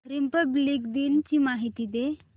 Republic दिन ची माहिती दे